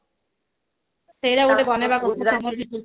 ସେଟା ଗୋଟେ ବନେଇବା କହିଥିଲି summer vacation ରେ